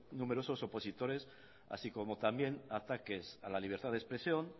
numerosos opositores así como también ataques a la libertad de expresión